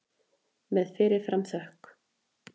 Með fyrir fram þökk.